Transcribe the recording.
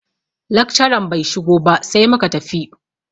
Lakcaran bai shigo ba sai muka tafi.